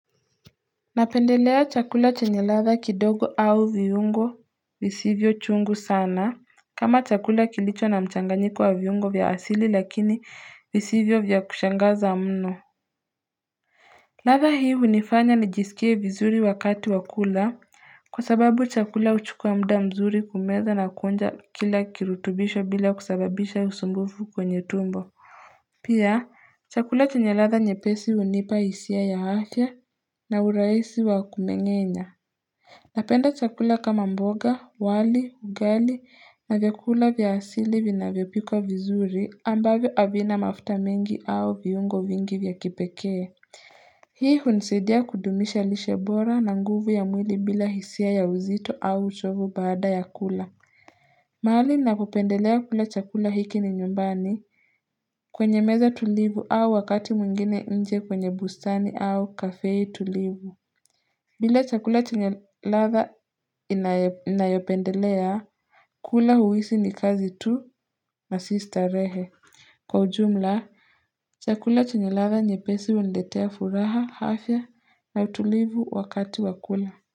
Napendelea chakula chenye ladha kidogo au viungo visivyo chungu sana kama chakula kilicho na mchanganyiko wa viungo vya asili lakini visivyo vya kushangaza mno ladha hii hunifanya nijisikie vizuri wakati wa kula Kwa sababu chakula huchukua mda mzuri kumeza na kuonja kila kirutubisho bila kusababisha usumbufu kwenye tumbo Pia chakula chenye ladha nyepesi hunipa hisia ya afya na urahisi wa kumengenya Napenda chakula kama mboga, wali, ugali na vyakula vya asili vinavyopikwa vizuri ambavyo havina mafuta mingi au viungo vingi vya kipekee. Hii hunsidia kudumisha lishe bora na nguvu ya mwili bila hisia ya uzito au uchovu baada ya kula. Mahali napopendelea kula chakula hiki ni nyumbani kwenye meza tulivu au wakati mwingine nje kwenye bustani au kafee tulivu. Bila chakula chenye ladha inayopendelea, kula huisi ni kazi tu na si starehe. Kwa ujumla, chakula chenye ladha nyepesi huniletea furaha hafya na utulivu wakati wa kula.